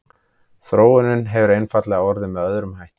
þróunin hefur einfaldlega orðið með öðrum hætti